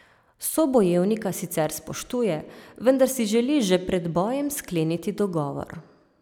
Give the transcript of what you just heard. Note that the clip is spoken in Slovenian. Sobojevnika sicer spoštuje, vendar si želi že pred bojem skleniti dogovor.